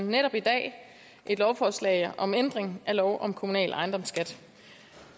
netop i dag et lovforslag om ændring af lov om kommunal ejendomsskat